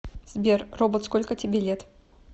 сбер робот сколько тебе лет